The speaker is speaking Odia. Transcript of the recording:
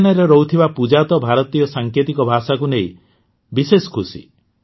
ହରିଆନାରେ ରହୁଥିବା ପୂଜା ତ ଭାରତୀୟ ସାଙ୍କେତିକ ଭାଷାକୁ ନେଇ ବିଶେଷ ଖୁସି